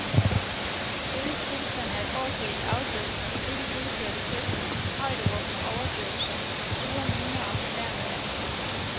Rigets tilstand er et orgie i afbrydelser, ikke fuldførte sætninger, højtråbende overdøvelser, sure miner og fornærmede ansigter.